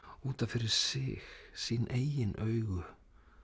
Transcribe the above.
út af fyrir sig sín eigin augu